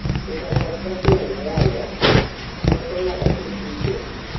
picha kod Jacklyne Mworia ketho nyaka kisike